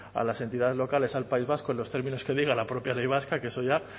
a las entidades locales al país vasco en los términos que diga la propia ley vasca que eso ya